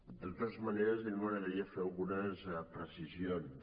de totes maneres a mi m’agradaria fer algunes precisions